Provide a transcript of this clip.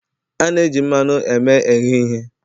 A na-eji mmanụ eme ehe ihe